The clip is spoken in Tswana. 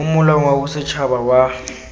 mo molaong wa bosetshaba wa